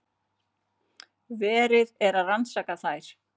Verið er að rannsaka þær